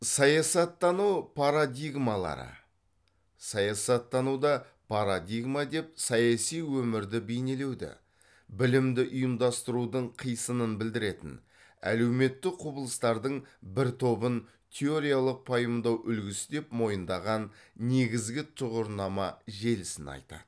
саясаттану парадигмалары саясаттануда парадигма деп саяси өмірді бейнелеуді білімді ұйымдастырудың қисынын білдіретін әлеуметтік құбылыстардың бір тобын теориялық пайымдау үлгісі деп мойындаған негізгі тұғырнама желісін айтады